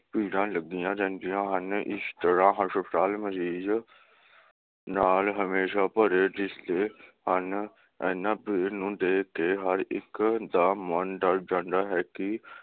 ਭੀੜਾਂ ਲੱਗੀਆਂ ਰਹਿੰਦੀਆਂ ਹਨ, ਇਸ ਤਰਾਂ ਹਸਪਤਾਲ ਮਰੀਜ਼ ਨਾਲ ਹਮੇਸ਼ਾ ਭਰੇ ਦਿਸਦੇ ਹਨ, ਇਹਨਾਂ ਭੀੜ ਨੂੰ ਦੇਖਕੇ ਹਰ ਇਕ ਦਾ ਮਨ ਡਰ ਜਾਂਦਾ ਹੈ ਕੇ